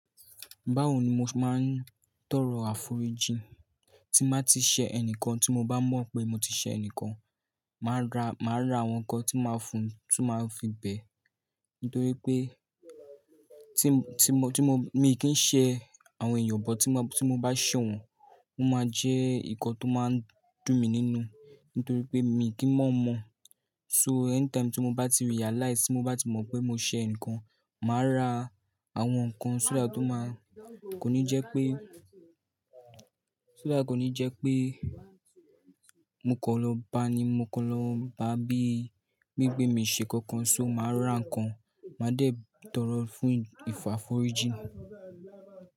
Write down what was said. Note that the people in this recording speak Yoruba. Báwo ni mo ṣe máa ń tọrọ àforíjì? Tí máa ti ṣẹ ẹni kan tí mo bá mọ̀ pé mo ti ṣẹ ẹni kan, màá ra, màá ra àwọn nǹkan tí màá fún tí màá fi bẹ́. Nítorí pé tí mo, tí mo, tí mo, mi kì n ṣẹ àwọn èèyàn, but tí mo bá, tí mo bá ṣẹ̀ wọ́n, ó máa jẹ́ nǹkan tó máa ń dùn mi nínú. Nítorí pé mi kì í mọ̀ mọ̀. So anytime tí mo bá ti realize, tí mo bá ti mọ̀ pé mo ṣẹ eǹikan, màá ra àwọn nǹkan sọ́ that ó máa-- kò ní jẹ́ pé, sọ́ that kò ní jẹ́ pé mo kan lọ bá ni, mo kan lọ bá bí, bi wipé mi ṣe nnkankan, so màá ra nǹkan, màá dẹ̀ tọrọ fún ìfọ̀ àforíjìn.